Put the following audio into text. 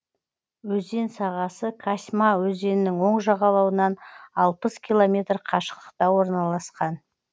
өзен сағасы касьма өзенінің оң жағалауынан алпыс километр қашықтықта орналасқан